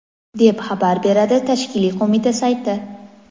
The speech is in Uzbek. deb xabar beradi tashkiliy qo‘mita sayti.